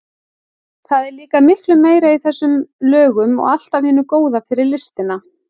Það er líka miklu meira í þessum lögum og allt af hinu góða fyrir listina.